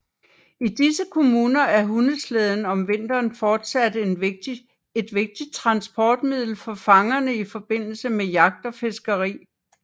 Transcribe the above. I disse kommuner er hundeslæden om vinteren fortsat et vigtigt transportmiddel for fangerne i forbindelse med jagt og fiskeri